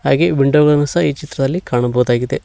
ಹಾಗೆ ವಿಂಡೋ ಗಳನ್ನು ಸಹ ಈ ಚಿತ್ರದಲ್ಲಿ ಕಾಣಬಹುದಾಗಿದೆ.